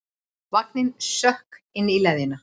Vanginn sökk inn í leðjuna.